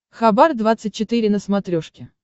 хабар двадцать четыре на смотрешке